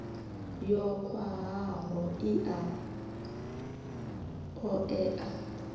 yo khwahaho i a oea